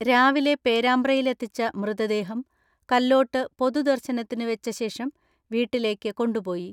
രാവിലെ പേരാമ്പ്രയിലെത്തിച്ച മൃതദേഹം കല്ലോട്ട് പൊതുദർശനത്തിന് വെച്ച ശേഷം വീട്ടിലേക്ക് കൊണ്ടുപോയി.